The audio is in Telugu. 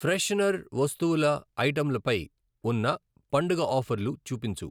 ఫ్రెషనర్ వస్తువుల ఐటెంలపై ఉన్న పండుగ ఆఫర్లు చూపించు.